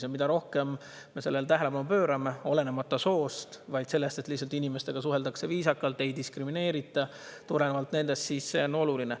Ja mida rohkem me sellele tähelepanu pöörame, et lihtsalt inimestega suheldakse viisakalt, olenemata soost, neid ei diskrimineerita tulenevalt sellest, siis see on oluline.